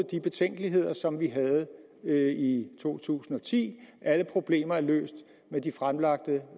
de betænkeligheder som vi havde i to tusind og ti alle problemer er løst med de fremlagte